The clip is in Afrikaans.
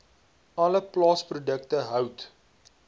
alle plaasprodukte hout